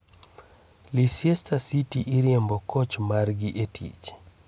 Leicter city oriembo koch margi e tich.